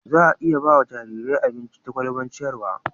za a iya ba jarirai abinci ta kwalban ciyarwa